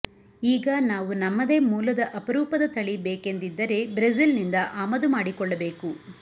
ಈಗ ನಾವು ನಮ್ಮದೇ ಮೂಲದ ಅಪರೂಪದ ತಳಿ ಬೇಕೆಂದಿದ್ದರೆ ಬ್ರಝಿಲ್ನಿಂದ ಆಮದು ಮಾಡಿಕೊಳ್ಳಬೇಕು